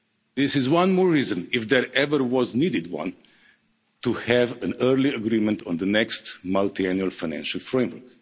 This is one more reason, if ever one was needed, to have an early agreement on the next Multiannual Financial Framework.